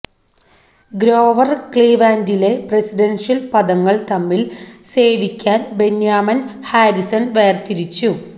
ഗ്രോവർ ക്ലീവ്ലാൻഡിലെ പ്രസിഡൻഷ്യൽ പദങ്ങൾ തമ്മിൽ സേവിക്കാൻ ബെന്യാമിൻ ഹാരിസൺ വേർതിരിച്ചു